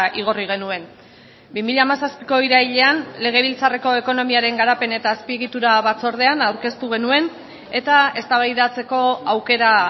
igorri genuen bi mila hamazazpiko irailean legebiltzarreko ekonomiaren garapen eta azpiegitura batzordean aurkeztu genuen eta eztabaidatzeko aukera